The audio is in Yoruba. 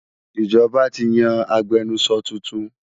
Ìjọba ti yan agbẹnusọ tuntun